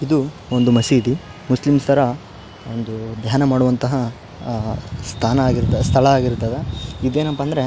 ಇದು ಒಂದು ಮಸೀದಿ. ಮುಸ್ಲಿಮ್ ಅರ ಒಂದು ದ್ಯಾನ ಮಾಡುವಂತಹ ಅಹ್ ಸ್ತಾನ ಆಗಿರ ಸ್ಥಳ ಆಗಿರತ್ತದ. ಇದ್ ಏನಪ್ಪ ಅಂದ್ರ --